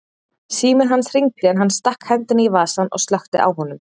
Síminn hans hringdi en hann stakk hendinni í vasann og slökkti á honum.